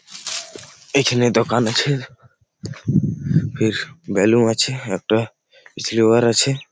এইখানে দোকান আছে-এ ফির বেলুন আছে একটা জেবর আছে।